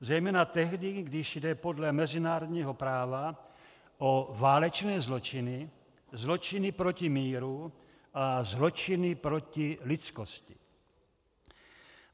Zejména tehdy, když jde podle mezinárodního práva o válečné zločiny, zločiny proti míru a zločiny proti lidskosti.